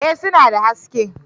Eh suna da haske